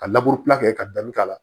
Ka kɛ ka dan k'a la